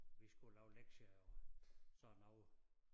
Vi skulle lave lektier og sådan noget